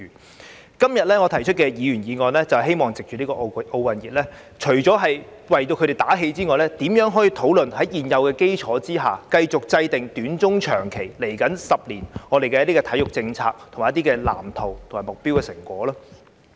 我今天提出議員議案，是希望藉着奧運熱潮，除了為體育界打氣外，亦討論如何可在現有基礎上，繼續制訂短、中、長期和未來10年的體育政策、藍圖、目標和成果。